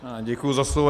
Děkuji za slovo.